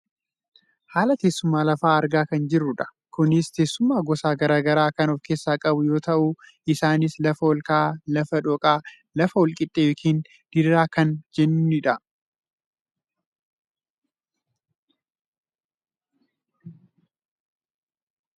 Haala teessuma lafaa argaa kan jirrudha. Kunis teessuma gosa gara garaa kan of keessaa qabu yoo ta'u , isaanis lafa ol ka'aa , lafa dhooqaa fi lafa wal qixxee yookaan diriiraa kan jennuunidha.